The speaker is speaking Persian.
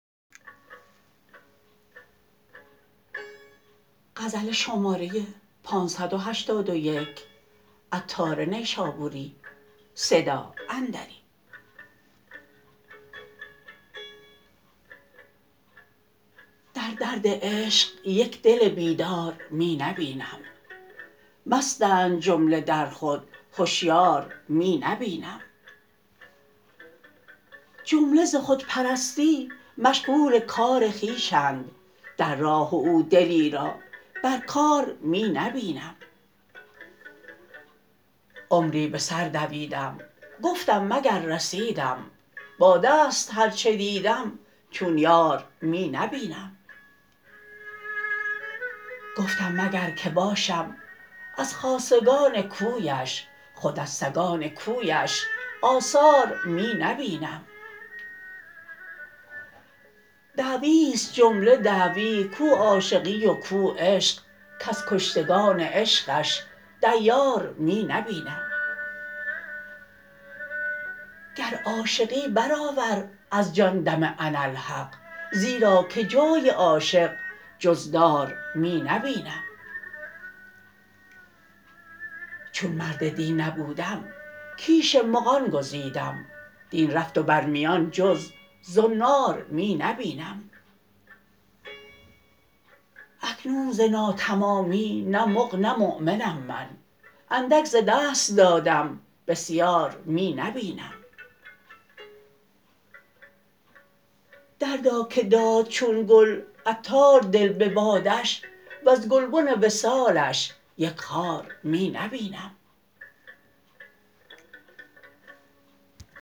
در درد عشق یک دل بیدار می نبینم مستند جمله در خود هشیار می نبینم جمله ز خودپرستی مشغول کار خویشند در راه او دلی را بر کار می نبینم عمری بسر دویدم گفتم مگر رسیدم با دست هرچه دیدم چون یار می نبینم گفتم مگر که باشم از خاصگان کویش خود از سگان کویش آثار می نبینم دعوی است جمله دعوی کو عاشقی و کو عشق کز کشتگان عشقش دیار می نبینم گر عاشقی برآور از جان دم اناالحق زیرا که جای عاشق جز دار می نبینم چون مرد دین نبودم کیش مغان گزیدم دین رفت و بر میان جز زنار می نبینم اکنون ز نا تمامی نه مغ نه مؤمنم من اندک ز دست دادم بسیار می نبینم دردا که داد چون گل عطار دل به بادش وز گلبن وصالش یک خار می نبینم